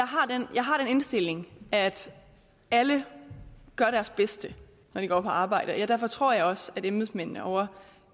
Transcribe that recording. jeg har den indstilling at alle gør deres bedste når de går på arbejde og derfor tror jeg også at embedsmændene ovre